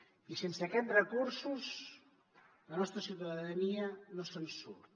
i sense aquests recursos la nostra ciutadania no se’n surt